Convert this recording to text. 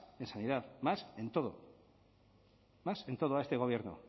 en sanidad más en todo más en todo a este gobierno